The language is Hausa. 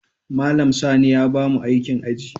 Malam Sani ya bamu aikin aji.